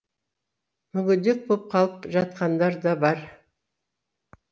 мүгедек боп қалып жатқандар да бар